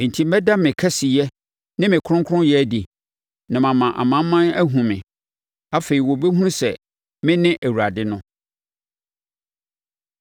Enti mɛda me kɛseyɛ ne me kronkronyɛ adi, na mama amanaman ahunu me. Afei wɔbɛhunu sɛ mene Awurade no.’